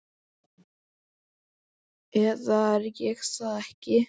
eða er ég það ekki?